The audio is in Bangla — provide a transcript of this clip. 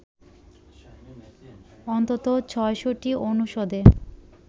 অন্তত ৬০০টি অনুষদে